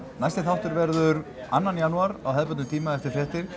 næsti þáttur verður annan janúar á hefðbundnum tíma eftir fréttir